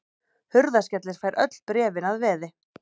Hurðaskellir fær öll bréfin að veði.